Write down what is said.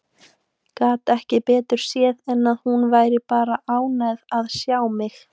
Gat ekki betur séð en að hún væri bara ánægð að sjá mig.